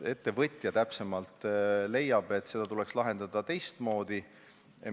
Ettevõtja leiab, et see tuleks lahendada teistmoodi.